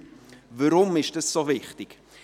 Weshalb ist dieser so wichtig?